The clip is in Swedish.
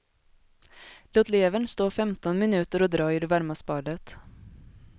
Låt levern stå femton minuter och dra i det varma spadet.